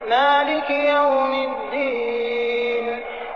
مَالِكِ يَوْمِ الدِّينِ